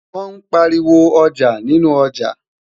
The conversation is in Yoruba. wón pariwo ọjà nínú ọja